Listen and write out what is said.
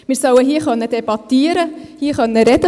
Wir sollen hier debattieren können, hier sprechen können.